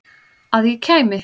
Að ég kæmi?